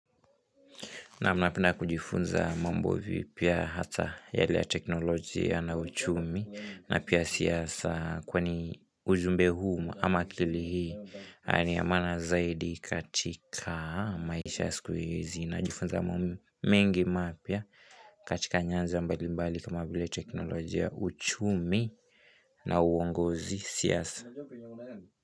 Naam napenda kujifunza mambo vipya hata yale ya teknolojia na uchumi na pia siasa kwani ujumbe huu ama akili hii ni ya maana zaidi katika maisha siku hizi najifunza mambo mengi mapya katika nyanja mbalimbali kama vile teknolojia uchumi na uongozi siasa.